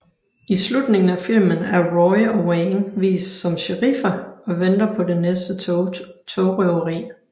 I slutningen af filmen er Roy og Wang vist som sheriffer og venter på det næste togrøveri